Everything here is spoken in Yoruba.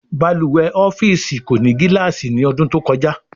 Balùwè ọ́fíìsì kò ní gilaasi ní odún to kojá